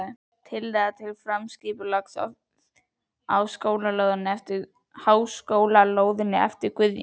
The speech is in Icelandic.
Tillaga til framtíðarskipulags á háskólalóðinni eftir Guðjón